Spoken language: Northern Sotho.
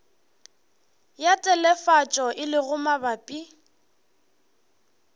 ya telefatšo e lego mabapi